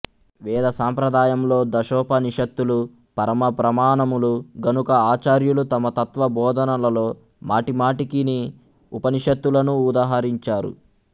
వేద సాంప్రదాయంలో దశోపనిషత్తులు పరమ ప్రమాణములు గనుక ఆచార్యులు తమ తత్వ బోధనలలో మాటిమాటికిని ఉపనిషత్తులను ఉదహరించారు